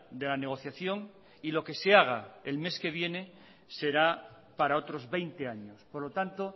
de la negociación y lo que se haga el mes que viene será para otros veinte años por lo tanto